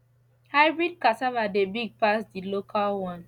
hybrid cassava dey big pass the local one